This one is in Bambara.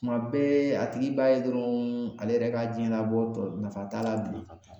Kuma bɛɛ a tigi b'a ye dɔrɔn ale yɛrɛ ka jɛnnabɔ tɔ nafa t'a la bilen